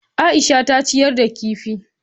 Aisha ta ciyar da kifi.